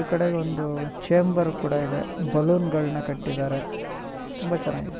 ಈ ಕಡೆ ಒಂದು ಚೇಂಬರ್ ಕೂಡ ಇದೆ ಬಲೂನ್ ಗಳನ್ನು ಕಟ್ಟಿದ್ದಾರೆ .